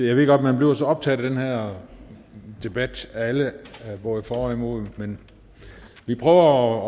jeg ved godt at man bliver så optaget af den her debat alle er både for og imod men vi prøver